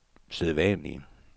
sædvanlige